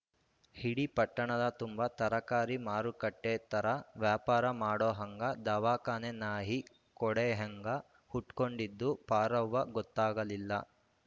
ಇಡಿ ಪಟ್ಟಣದ ತುಂಬಾ ತರಕಾರಿ ಮಾರುಕಟ್ಟೆಥರ ವ್ಶಾಪಾರ ಮಾಡೊವ್ಹಂಗ ದವಾಖಾನೆ ನಾಯಿ ಕೊಡೆಯ್ಹಂಗ ಹುಟ್ಕೊಂಡಿದ್ದು ಪಾರವ್ವ ಗೊತ್ತಾಗಲಿಲ್ಲ